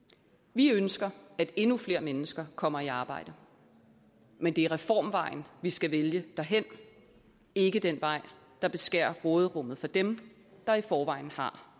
vi ønsker at endnu flere mennesker kommer i arbejde men det er reformvejen vi skal vælge derhen ikke den vej der beskærer råderummet for dem der i forvejen har